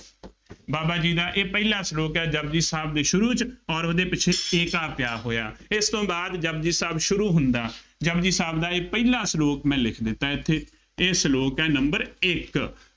ਬਾਬਾ ਜੀ ਦਾ ਇਹ ਪਹਿਲਾ ਸਲੋਕ ਆ, ਜਪੁਜੀ ਸਾਹਿਬ ਦੇ ਸ਼ੁਰੂ ਚ ਅੋਰ ਉਹਦੇ ਪਿੱਛੇ ਏਕਾ ਪਿਆ ਹੋਇਆ, ਇਸ ਤੋਂ ਬਾਅਦ ਜਪੁਜੀ ਸਾਹਿਬ ਸ਼ੁਰੂ ਹੁੰਦਾ, ਜਪੁਜੀ ਸਾਹਿਬ ਦਾ ਇਹ ਪਹਿਲਾ ਸਲੋਕ ਮੈਂ ਲਿਖ ਦਿੱਤਾ, ਇੱਥੇ ਇਹ ਸਲੋਕ ਹੈ number ਇੱਕ